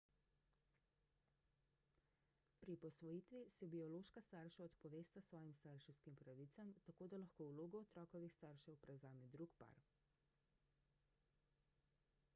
pri posvojitvi se biološka starša odpovesta svojim starševskim pravicam tako da lahko vlogo otrokovih staršev prevzame drug par